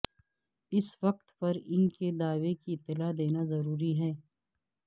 اس وقت پر ان کے دعوے کی اطلاع دینا ضروری ہے